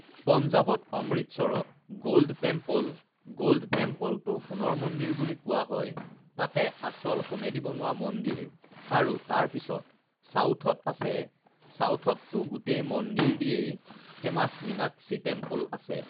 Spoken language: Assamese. পঞ্জাৱত অমৃতসৰত গল্ড টেম্প'ল, গল্ড টেম্প'লটো সোণৰ মন্দিৰ বুলি কোৱা হয় তাতে আচল সোণেদি বনোৱা মন্দিৰ আৰু তাৰপিছত ছাউথত আছে ছাউথততো গোটেই মন্দিৰেদিয়েই ফেমাছ মিনাক্ষী টেম্প'ল আছে